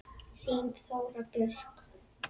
Þín Þóra Björk.